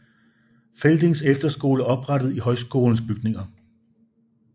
Feldings Efterskole oprettet i højskolens bygninger